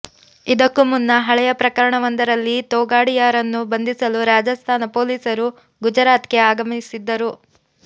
ಇದಕ್ಕೂ ಮುನ್ನ ಹಳೆಯ ಪ್ರಕರಣ ವೊಂದರಲ್ಲಿ ತೊಗಾಡಿಯಾರನ್ನು ಬಂಧಿಸಲು ರಾಜಸ್ಥಾನ ಪೊಲೀಸರು ಗುಜರಾತ್ಗೆ ಆಗಮಿಸಿದ್ದರು